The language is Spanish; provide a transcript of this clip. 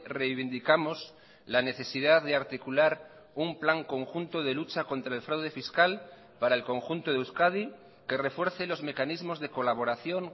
reivindicamos la necesidad de articular un plan conjunto de lucha contra el fraude fiscal para el conjunto de euskadi que refuerce los mecanismos de colaboración